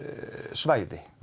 svæði